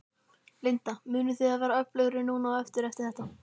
Linda: Munið þið verða öflugri núna á eftir, eftir þetta?